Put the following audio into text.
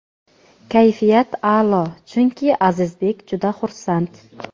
Kayfiyat a’lo chunki Azizbek juda xursand.